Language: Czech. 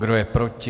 Kdo je proti?